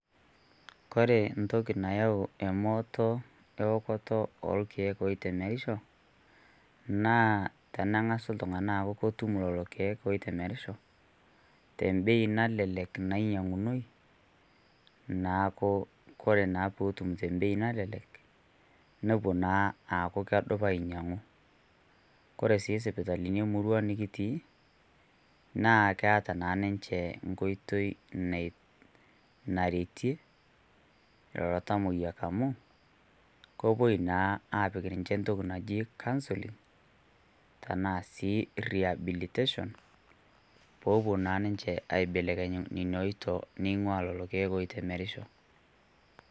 Kore ntoki nayau emooto eokoto oorkiek oitemerisho, naa tenang'as ltungani aaku kootum lolo olkiek oitemerisho te mbei nalelek nanyayunoi, naaku kore naa pootum te mbei nalelek nopoo naa aaku kedupaa ainyayu. Kore sii sipitalini emurrua nikitii naa keeta naa ninchee nkotoi nee nairetee lelo tamoyiak amu kepoo naa apiik ninche ntoki naji counselling tana sii rehabilitation poo opo naa ninchee aibelekenyu nenia oitoo neng'ua lelo lkiek oitemerisho.